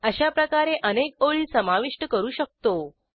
अशाप्रकारे अनेक ओळी समाविष्ट करू शकतो